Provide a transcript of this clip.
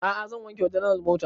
A'a zan wanke wa general mota